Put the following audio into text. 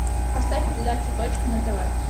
поставь передачу точка на тв